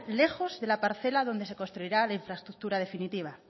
lejos de la parcela donde se construirá la infraestructura definitiva